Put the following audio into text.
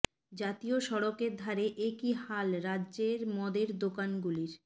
জাতীয় সড়কের ধারে এ কী হাল রাজ্যের মদের দোকানগুলির